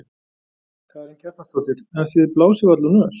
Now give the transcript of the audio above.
Karen Kjartansdóttir: En þið blásið varla úr nös?